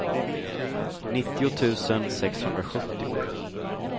nittio tusen sexhundrasjuttio